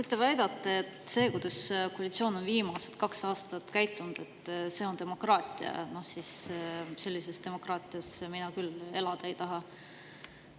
Kui te väidate, et see, kuidas koalitsioon on viimased kaks aastat käitunud, on demokraatia, siis sellises demokraatias mina küll elada ei taha.